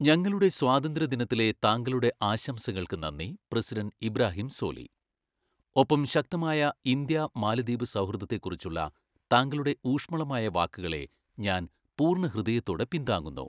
ഞങ്ങളുടെ സ്വാതന്ത്ര്യ ദിനത്തിലെ താങ്കളുടെ ആശംസകൾക്ക് നന്ദി, പ്രസിഡന്റ് ഇബ്രാഹിം സോലി. ഒപ്പം ശക്തമായ ഇന്ത്യ മാലദ്വീപ് സൗഹൃദത്തെക്കുറിച്ചുള്ള താങ്കളുടെ ഊഷ്മളമായ വാക്കുകളെ, ഞാൻ പൂർണ്ണഹൃദയത്തോടെ പിന്താങ്ങുന്നു.